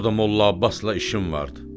Orda Molla Abbasla işim vardı.